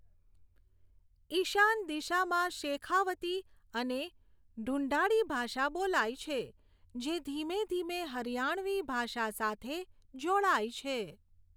ઈશાન દિશામાં શેખાવતી અને ઢુંઢાડી ભાષા બોલાય છે, જે ધીમે ધીમે હરિયાણવી ભાષા સાથે જોડાય છે.